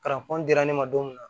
dira ne ma don min na